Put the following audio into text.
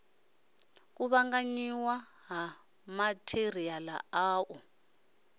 kuvhanganyiwa ha matheriala a u